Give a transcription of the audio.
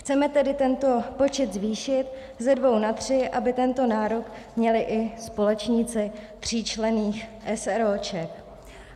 Chceme tedy tento počet zvýšit ze dvou na tři, aby tento nárok měli i společníci tříčlenných eseróček.